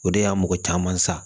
O de y'a mɔgɔ caman sa